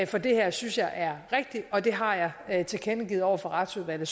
for det her synes jeg er rigtig og det har jeg jeg tilkendegivet over for retsudvalget